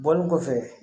Bɔlen kɔfɛ